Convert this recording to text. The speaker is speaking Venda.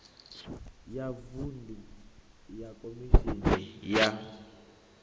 ya vuṅdu ya khomishini ya